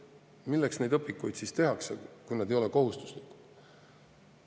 Milleks neid õpikuid siis tehakse, kui need ei ole kohustuslikud?